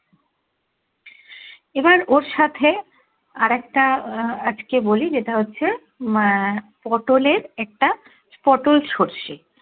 এবার ওর সাথে আর একটা আহ আজকে বলি যেটা হচ্ছে আহ পটোল এর একটা পটোল সর্ষে